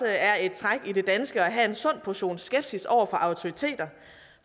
er et træk i det danske at have en sund portion skepsis over for autoriteter